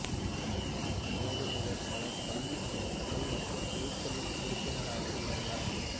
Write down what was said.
மேலும் இவர் பல கல்வி அமைப்புகள் மற்றும் குழுக்களில் உறுப்பினராக இருந்தார்